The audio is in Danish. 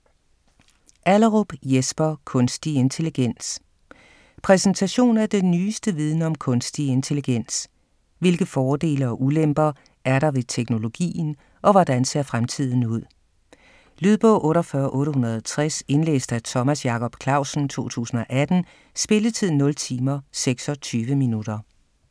Allerup, Jesper: Kunstig intelligens Præsentation af den nyeste viden om kunstig intelligens. Hvilke fordele og ulemper er der ved teknologien og hvordan ser fremtiden ud? Lydbog 48860 Indlæst af Thomas Jacob Clausen, 2018. Spilletid: 0 timer, 26 minutter.